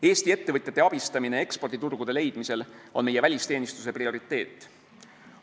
Eesti ettevõtjate abistamine eksporditurgude leidmisel on meie välisteenistuse prioriteet.